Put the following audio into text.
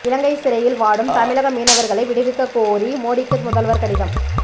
இலங்கை சிறையில் வாடும் தமிழக மீனவர்களை விடுவிக்கக் கோரி மோடிக்கு முதல்வர் கடிதம்